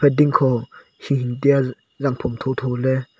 pe ding kho shing tiya zang phom tho tho ley.